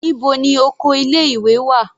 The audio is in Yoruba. Níbo ni oko ilé ìwé wà.